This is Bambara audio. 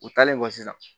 U taalen kɔ sisan